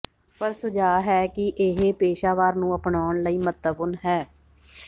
ਪਰ ਸੁਝਾਅ ਹੈ ਕਿ ਇਹ ਪੇਸ਼ਾਵਰ ਨੂੰ ਅਪਣਾਉਣ ਲਈ ਮਹੱਤਵਪੂਰਨ ਹੈ